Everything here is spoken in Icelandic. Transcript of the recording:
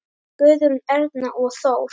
Guðrún, Erna og Þór.